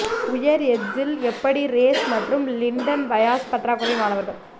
உயர் எட்ஸில் எப்படி ரேஸ் மற்றும் லிண்டன் பயாஸ் பற்றாக்குறை மாணவர்கள்